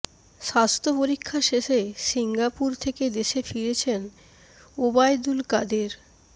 স্বাস্থ্য পরীক্ষা শেষে সিঙ্গাপুর থেকে দেশে ফিরেছেন ওবায়দুল কাদের